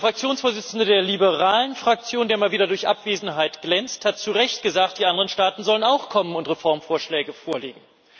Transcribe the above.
Der Fraktionsvorsitzende der liberalen Fraktion, der mal wieder durch Abwesenheit glänzt, hat zu Recht gesagt Die anderen Staaten sollen auch kommen und Reformvorschläge vorlegen.